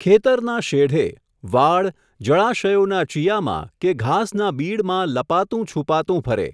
ખેતરના શેઢે, વાડ, જળાશયોના ચીયામાં કે ઘાસના બીડમાં લપાતું છૂપાતું ફરે.